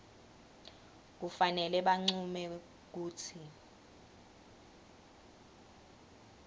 kufanele bancume kutsi